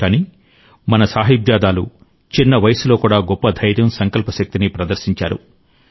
కానీ మన సాహిబ్జాదాలు చిన్న వయసులో కూడా గొప్ప ధైర్యం సంకల్ప శక్తిని ప్రదర్శించారు